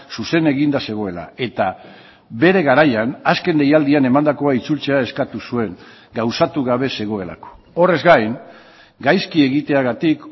zuzen eginda zegoela eta bere garaian azken deialdian emandakoa itzultzea eskatu zuen gauzatu gabe zegoelako horrez gain gaizki egiteagatik